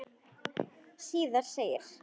Síðar segir